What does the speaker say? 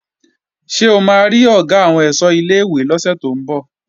Ṣé o máa rí Ọ̀gá àwọn ẹ̀ṣọ́ ilé-ìwé lọ́sẹ̀ tó ń bọ̀?